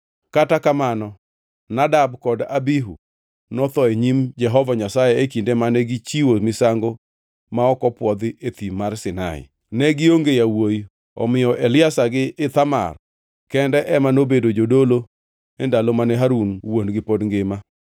Kata kamano Nadab kod Abihu, notho e nyim Jehova Nyasaye e kinde mane gichiwo misango ma ok opwodhi e Thim mar Sinai. Ne gionge yawuowi; omiyo Eliazar gi Ithamar kende ema nobedo jodolo e ndalo mane Harun wuon-gi pod ngima.